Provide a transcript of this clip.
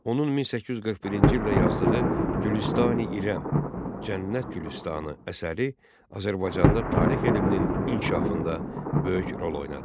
Onun 1841-ci ildə yazdığı Gülüstan-i İrəm, Cənnət Gülüstanı əsəri Azərbaycanda tarix elminin inkişafında böyük rol oynadı.